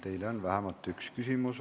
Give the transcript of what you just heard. Teile on vähemalt üks küsimus.